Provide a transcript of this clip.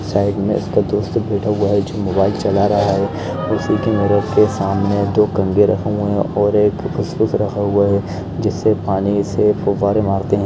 Side में इसका दोस्त बैठा हुआ है जो मोबाइल चला रहा है उसी के मिरर के सामने दो कंघे रखे हुए है और एक फुसफुस रखा हुआ है जिससे पानी से फुआरे मारते हैं।